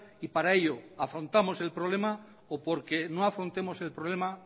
y para ello afrontamos el problema o porque no afrontemos el problema